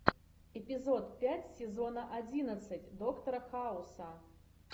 эпизод пять сезона одиннадцать доктора хауса